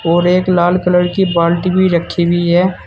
और एक लाल कलर की बाल्टी भी रखी हुई है।